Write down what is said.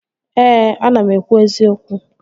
Ee, ana m ekwu eziokwu